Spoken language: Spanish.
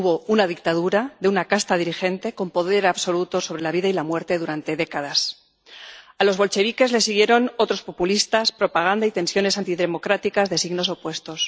Hubo una dictadura de una casta dirigente con poder absoluto sobre la vida y la muerte durante décadas. A los bolcheviques les siguieron otros populistas, propaganda y tensiones antidemocráticas de signos opuestos.